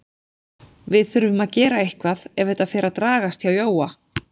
Við þurfum að gera eitthvað ef þetta fer að dragast hjá Jóa.